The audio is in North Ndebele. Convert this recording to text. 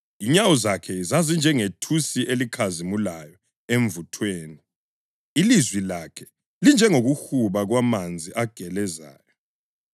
Inyawo zakhe zazinjengethusi elikhazimulayo emvuthweni, ilizwi lakhe linjengokuhuba kwamanzi agelezayo.